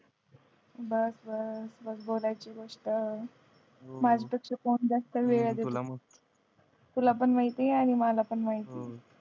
बस बस बस बोलायची गोष्ट माझं तर कोण जास्त वेळ देत नाही तुला पण माहिती ये आणि मला पण माहिती ये